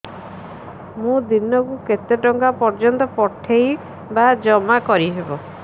ମୁ ଦିନକୁ କେତେ ଟଙ୍କା ପର୍ଯ୍ୟନ୍ତ ପଠେଇ ବା ଜମା କରି ପାରିବି